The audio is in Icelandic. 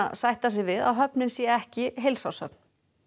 sætta sig við að höfnin sé ekki heilsárshöfn